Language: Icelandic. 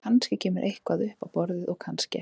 Kannski kemur eitthvað upp á borðið og kannski ekki.